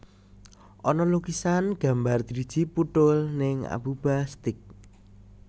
Ana lukisan gambar driji puthul ning Abuba Steak